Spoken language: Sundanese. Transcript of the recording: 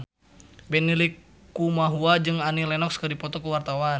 Benny Likumahua jeung Annie Lenox keur dipoto ku wartawan